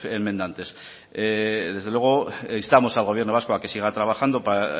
enmendantes desde luego instamos al gobierno vasco a que siga trabajando para